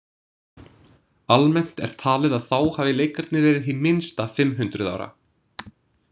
Almennt er talið að þá hafi leikarnir verið hið minnsta fimm hundruð ára.